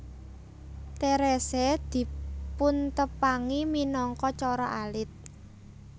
Therese dipuntepangi minangka Cara Alit